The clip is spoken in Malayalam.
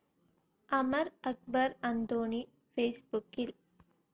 അമർ അക്ബർ അന്തോണി ഫേസ്‌ബുക്കിൽ